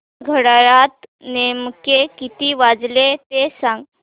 घड्याळात नेमके किती वाजले ते सांग